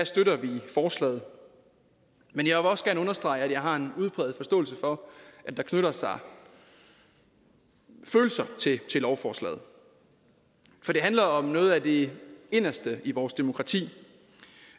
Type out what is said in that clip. støtter vi forslaget men jeg vil også gerne understrege at jeg har en udpræget forståelse for at der knytter sig følelser til lovforslaget for det handler om noget af det inderste i vores demokrati